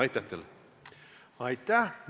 Aitäh!